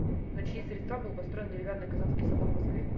на чьи средства был построен деревянный казанский собор в москве